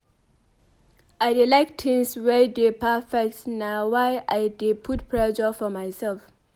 I dey like tins wey dey perfect na why I dey put pressure for mysef.